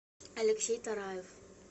алексей тараев